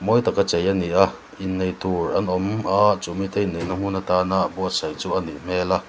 mawi taka chei ani a inneih tur an awm a chumi te inneihna hmun atana buatsaih chu a nih hmel a.